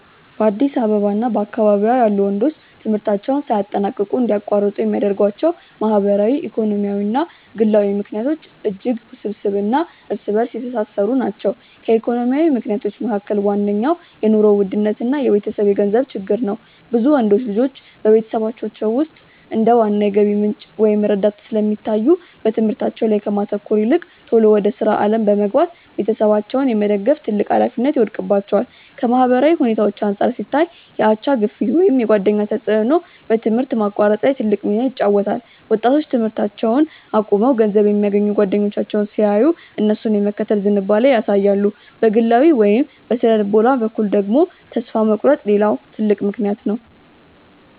በአዲስ አበባ እና በአካባቢዋ ያሉ ወንዶች ትምህርታቸውን ሳያጠናቅቁ እንዲያቋርጡ የሚያደርጓቸው ማህበራዊ፣ ኢኮኖሚያዊ እና ግላዊ ምክንያቶች እጅግ ውስብስብ እና እርስ በእርስ የተሳሰሩ ናቸው። ከኢኮኖሚ ምክንያቶች መካከል ዋነኛው የኑሮ ውድነት እና የቤተሰብ የገንዘብ ችግር ነው። ብዙ ወንዶች ልጆች በቤተሰቦቻቸው ውስጥ እንደ ዋና የገቢ ምንጭ ወይም ረዳት ስለሚታዩ፣ በትምህርታቸው ላይ ከማተኮር ይልቅ ቶሎ ወደ ሥራ ዓለም በመግባት ቤተሰባቸውን የመደገፍ ትልቅ ኃላፊነት ይወድቅባቸዋል። ከማህበራዊ ሁኔታዎች አንጻር ሲታይ፣ የአቻ ግፊት ወይም የጓደኛ ተጽዕኖ በትምህርት ማቋረጥ ላይ ትልቅ ሚና ይጫወታል። ወጣቶች ትምህርታቸውን አቁመው ገንዘብ የሚያገኙ ጓደኞቻቸውን ሲያዩ፣ እነሱን የመከተል ዝንባሌ ያሳያሉ። በግላዊ ወይም በሥነ-ልቦና በኩል ደግሞ፣ ተስፋ መቁረጥ ሌላው ትልቅ ምክንያት ነው።